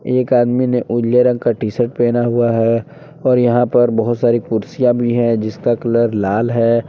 एक आदमी ने उजले रंग का टी शर्ट पहना हुआ है और यहां पर बहुत सारी कुर्सियां भी है जिसका कलर लाल है।